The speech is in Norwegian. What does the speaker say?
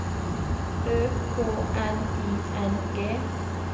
Ø K N I N G